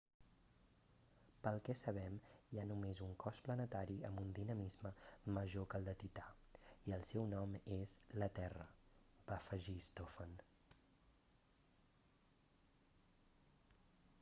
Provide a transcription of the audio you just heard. pel que sabem hi ha només un cos planetari amb un dinamisme major que el de tità i el seu nom és la terra va afegir stofan